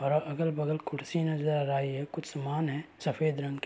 और अ अगल-बगल कुर्सी नज़र आयी है कुछ सामान है सफ़ेद रंग के --